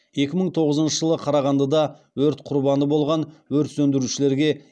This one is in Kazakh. екі мың тоғызыншы жылы қарағандыда өрт құрбаны болған өрт сөндірушілерге